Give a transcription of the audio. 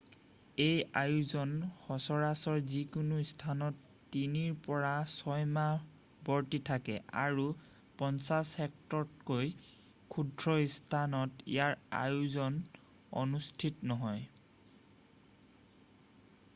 এই আয়োজন সচৰাচৰ যিকোনো স্থানত তিনিৰ পৰা ছয়মাহ বৰ্তি থাকে আৰু 50 হেক্টৰতকৈ ক্ষুদ্ৰ স্থানত ইয়াৰ আয়োজন অনুষ্ঠিত নহয়